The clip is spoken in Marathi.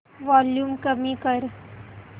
वॉल्यूम कमी कर